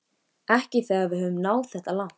Ekki þegar við höfum náð þetta langt